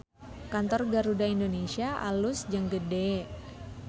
Kantor Garuda Indonesia alus jeung gede